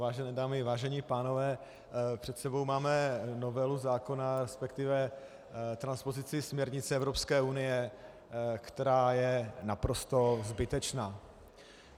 Vážené dámy, vážení pánové, před sebou máme novelu zákona, respektive transpozici směrnice Evropské unie, která je naprosto zbytečná.